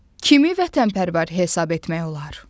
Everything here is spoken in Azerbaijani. Kimi vətənpərvər hesab etmək olar?